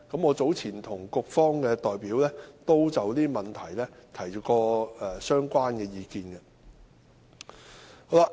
我早前已就這些問題向局方的代表提出相關意見。